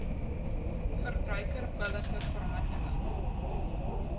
verbruiker billike verhandeling